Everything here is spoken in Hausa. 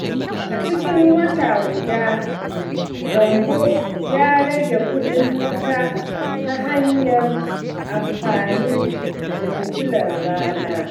A cikin wata guda, Gambo ya rage kuɗin wuta ta hanyar amfani da fitilar rana.